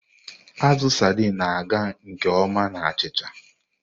Azụ Sardini na-aga nke ọma na achịcha.